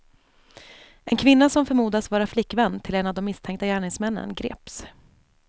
En kvinna som förmodas vara flickvän till en av de misstänkta gärningsmännen greps.